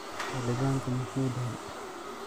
Xilibanka muxuu dhexe.